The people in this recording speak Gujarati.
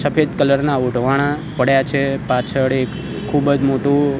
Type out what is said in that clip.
સફેદ કલર ના ઓઢવાણાં પડ્યા છે પાછળ એક ખૂબ જ મોટું --